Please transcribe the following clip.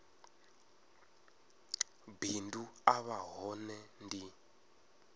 bindu a vha hone ndi